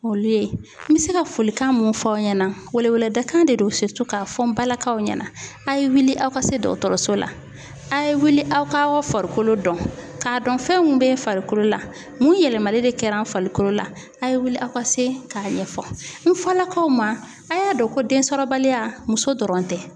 Olu ye n bɛ se ka folikan mun fɔ aw ɲɛna weleweleda kan de do k'a fɔ n balakaw ɲɛna a' ye wuli aw ka se dɔgɔtɔrɔso la a' ye wuli aw ka farikolo dɔn k'a dɔn fɛn mun bɛ farikolo la mun yɛlɛmali de kɛra n farikolo la a' ye wuli aw ka se k'a ɲɛfɔ n fɔlakaw ma a y'a dɔn ko densɔrɔbaliya muso dɔrɔn tɛ.